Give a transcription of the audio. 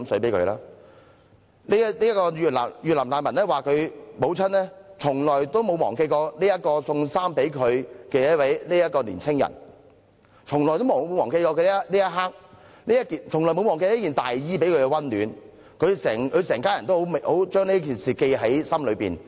這位前越南難民說，他母親從來沒有忘記這位給她送衣服的年青人，從來沒有忘記那一刻那件大衣給她的溫暖，一家人都把這事情銘記於心。